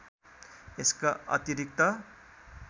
यसका अतिरिक्त